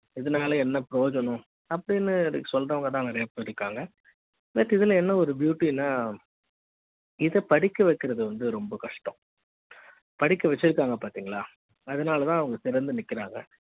இதனால என்ன பிரயோஜனம் அப்படின்னு சொல்றவங்க தான் நிறைய பேர் இருக்காங்க but இதுல என்ன ஒரு beauty னா இதைப் படிக்க வைக்கிறது வந்து ரொம்ப கஷ்டம் படிக்க வச்சிருக்காங்க பாத்தீங்களா அதனால தான் அவங்க சிறந்த நிக்கிறாங்க